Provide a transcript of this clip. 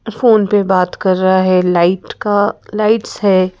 Phone पे बात कर रहा है लाइट का लाइट्स है।